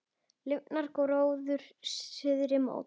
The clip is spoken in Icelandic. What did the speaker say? Lifnar gróður suðri mót.